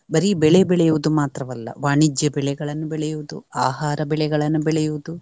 ಬರೀ ಬೆಳೆ ಬೆಳೆಯುವುದು ಮಾತ್ರವಲ್ಲ ವಾಣಿಜ್ಯ ಬೆಳೆಗಳನ್ನು ಬೆಳೆಯುವುದು, ಆಹಾರ ಬೆಳೆಗಳನ್ನು ಬೆಳೆಯುವುದು.